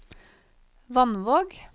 Vannvåg